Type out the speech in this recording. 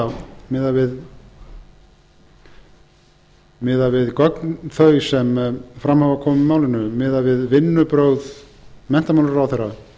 er miðað við þetta miðað við gögn þau sem fram hafa komið í málinu miðað við vinnubrögð menntamálaráðherra og